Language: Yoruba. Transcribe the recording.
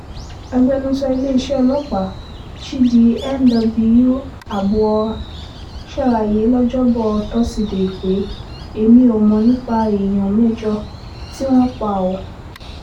agbẹnusọ iléeṣẹ́ ọlọ́pàá chidi nw abuor ṣàlàyé lọ́jọ́bọ́ tosidee pé èmi ò mọ̀ nípa èèyàn mẹ́jọ tí wọ́n pa ọ́